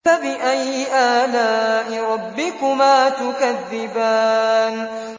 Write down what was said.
فَبِأَيِّ آلَاءِ رَبِّكُمَا تُكَذِّبَانِ